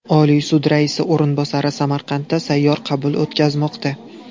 Oliy sud raisi o‘rinbosari Samarqandda sayyor qabul o‘tkazmoqda.